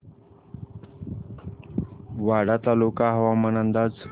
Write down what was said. वाडा तालुका हवामान अंदाज